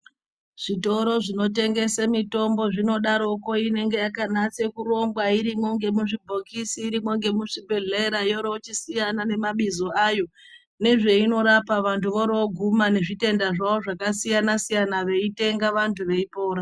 Zvitoro zvinotengese mitombo inodaroko inenge yakanase kurongwa, irimo ngemuzvibhokisi, irimo ngemuzvibhedhlere yoro yochisiyana nemabizo ayo, nezveinorapa, vantu voro voguma nezvitenda zvavo zvakasiyana-siyana veitenga, veipora.